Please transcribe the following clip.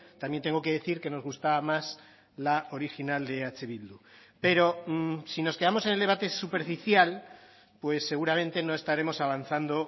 también tengo que decir que nos gustaba más la original de eh bildu pero si nos quedamos en el debate superficial pues seguramente no estaremos avanzando